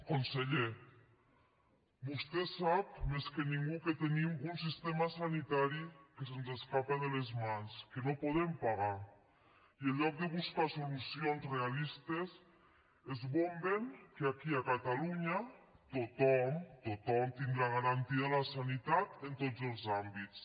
conseller vostè sap més que ningú que tenim un sistema sanitari que se’ns escapa de les mans que no podem pagar i en lloc de buscar solucions realistes esbomben que aquí a catalunya tothom tothom tindrà garantida la sanitat en tots els àmbits